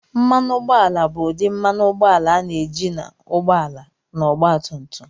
Mmanụ ụgbọala bụ ụdị mmanụ ụgbọala a na-eji n'ụgbọ ala na ọgba tum tum.